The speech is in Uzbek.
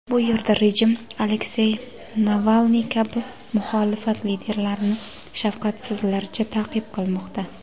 Bu yerda rejim Aleksey Navalniy kabi muxolifat liderlarini shafqatsizlarcha ta’qib qilmoqda.